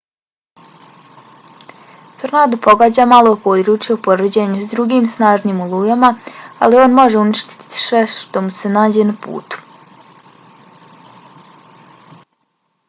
tornado pogađa malo područje u poređenju s drugim snažnim olujama ali on može uništiti sve što mu se nađe na putu